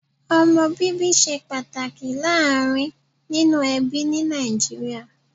Omo bíbí ṣe pàtàkì láàárín nínú ẹbí ní Nàìjíríà